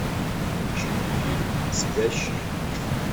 включи мне фильм спящие